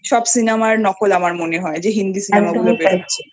সব Cinema নকল আমার মনে হয় যে Hindi Cinema গুলো বেরোচ্ছে